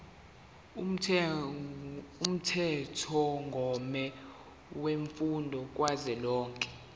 umthethomgomo wemfundo kazwelonke